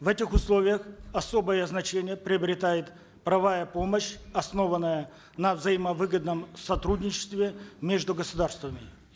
в этих словиях особое значение приобретает помощь основанная на взаимовыгодном сотрудничестве между государствами